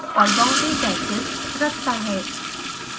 और boundary patches रखता है